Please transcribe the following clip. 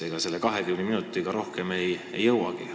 Ega selle 20 minutiga rohkem ei jõuagi.